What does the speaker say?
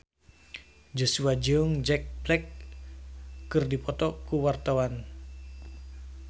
Joshua jeung Jack Black keur dipoto ku wartawan